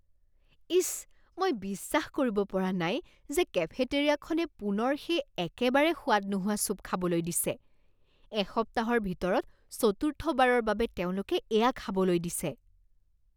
ইচ, মই বিশ্বাস কৰিব পৰা নাই যে কেফেটেৰিয়াখনে পুনৰ সেই একেবাৰে সোৱাদ নোহোৱা চুপ খাবলৈ দিছে। এসপ্তাহৰ ভিতৰত চতুৰ্থবাৰৰ বাবে তেওঁলোকে এয়া খাবলৈ দিছে।